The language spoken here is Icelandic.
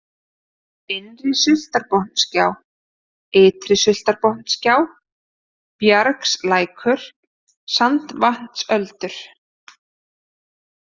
Innri-Sultarbotnagjá, Ytri-Sultarbotnagjá, Bjargslækur, Sandvatnsöldur